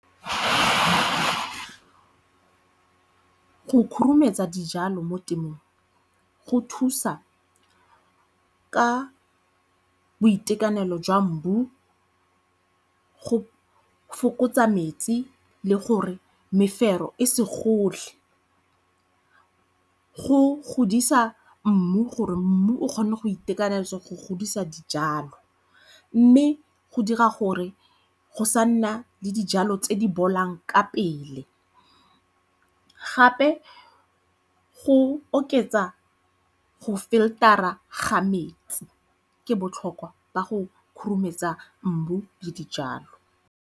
Go khurumetsa dijalo mo temong go thusa ka boitekanelo jwa mbu go fokotsa metsi le gore mefero e se gole. Go godisa mmu gore mmu o kgone go itekanetsa go godisa dijalo mme go dira gore go sa nna le dijalo tse di bolang ka pele. Gape go oketsa go filter-ra ga metsi, ke botlhokwa ba go khurumetsa mbu le dijalo.